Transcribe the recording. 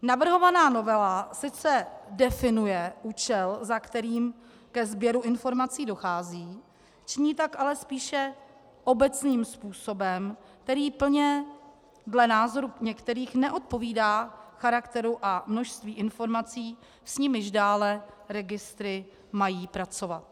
Navrhovaná novela sice definuje účel, za kterým ke sběru informací dochází, činí tak ale spíše obecným způsobem, který plně dle názoru některých neodpovídá charakteru a množství informací, s nimiž dále registry mají pracovat.